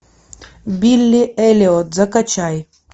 билли эллиот закачай